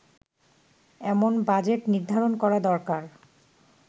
এমন বাজেট নির্ধারণ করা দরকার